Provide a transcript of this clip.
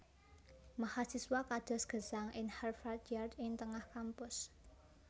Mahasiswa kados gesang ing Harvard Yard ing tengah kampus